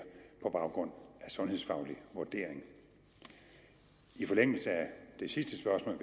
på baggrund af en sundhedsfaglig vurdering i forlængelse af det sidste spørgsmål